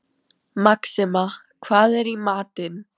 Maxima, hvað er í matinn?